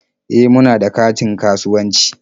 E, muna da katin kasuwanci.